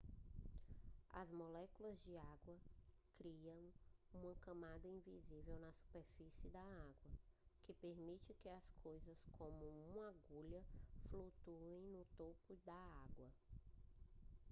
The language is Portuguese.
as moléculas de água criam uma camada invisível na superfície da água que permite que coisas como uma agulha flutuem no topo da água